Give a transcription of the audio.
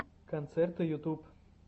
концерты ютуб